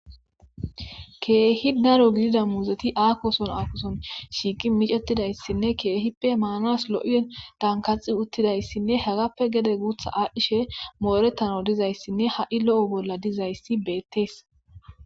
keehi daro gidida muuzeti aakoson aakoson shiiqi micetidayssinne keehippe maanas lo7i dankaxi uttidayssinne hagappe gede guutha aadhchishe moorettano dizayssinne ha7i lo7o bolla dizayssi beettees